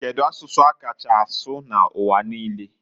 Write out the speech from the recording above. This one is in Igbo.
Kedu asụsụ a kacha asụ n'uwa niine?